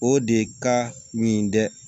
O de ka ɲi dɛ